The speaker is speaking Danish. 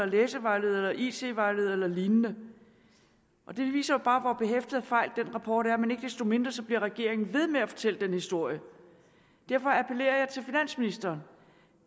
læsevejledere it vejledere eller lignende det viser bare hvor behæftet med fejl den rapport er men ikke desto mindre bliver regeringen ved med at fortælle den historie derfor appellerer jeg til finansministeren